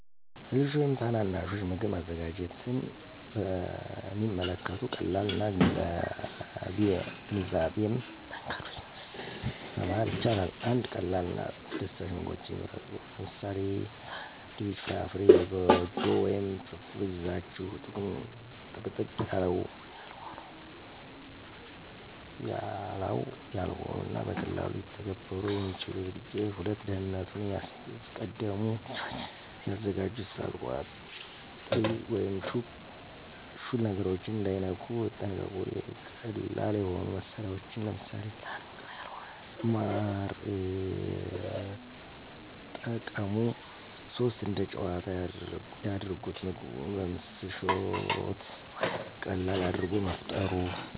ለልጆች ወይም ታናናሾች ምግብ ማዘጋጀትን በሚከተሉት ቀላል እና ግንዛቤያም መንገዶች ማስተማር ይቻላል። 1. ቀላል እና አስደሳች ምግቦችን ይምረጡ - ለምሳሌ፦ ሳንድዊች፣ ፍራፍራ፣ የጎጆ ወይም ፍርፍር ይዛችሁ። - ጥቅጥቅ ያላው ያልሆኑ እና በቀላሉ ሊተገበሩ የሚችሉ ዝግጅቶች። **2. ደህንነቱን ያስቀድሙ** - ልጆች ሲያዘጋጁ እሳት፣ ቋጥሪ ወይም ሹል ነገሮችን እንዳይነኩ ይጠንቀቁ። - ቀላል የሆኑ መሳሪያዎችን (ለምሳሌ፦ ላንቃ ያልሆነ ማር) የጠቀሙ። *3. እንደ ጨዋታ ያድርጉት** - ምግቡን በምስል፣ ሾት ወይም ቀለም አድርጎ መፍጠሩ